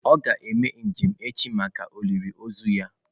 Ọ ga-eme njem echi maka olili ozu ya.